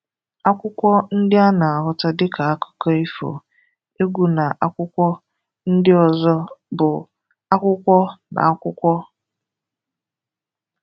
Akwụkwọ ndị a na-ahụta dịka akụkọ ifo, egwu na akwụkwọ ndị ọzọ bụ akwụkwọ n'akwụkwọ.